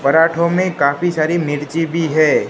पराठों में काफी सारी मिर्ची भी है।